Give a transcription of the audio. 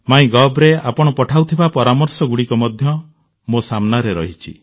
Mygovରେ ଆପଣ ପଠାଉଥିବା ପରାମର୍ଶଗୁଡ଼ିକ ମଧ୍ୟ ମୋ ସାମ୍ନାରେ ରହିଛି